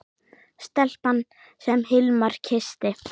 Stelpan sem Hilmar kyssti.